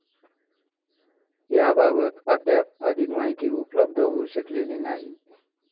याबाबत अद्याप अधिक माहिती उपलब्ध होऊ शकलेली नाही.